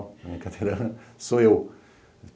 Na minha cadeira sou eu.